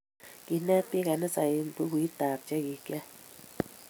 Kinet biik kanisa eng bukut ab chekikyay